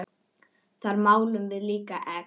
Þar málum við líka egg.